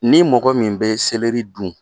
Ni mɔgɔ min bɛ sɛlɛri dun